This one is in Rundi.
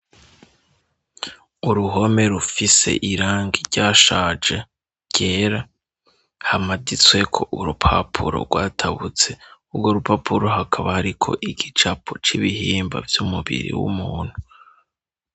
Uruhome rufise irangi ryashaje ryera, hamaditsweko urupapuro rwatabutse, urwo rupapuro hakaba hariko igicapo c'ibihimba vy'umubiri w'umuntu.